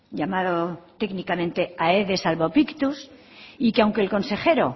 llamado técnicamente aedes albopictus y que aunque el consejero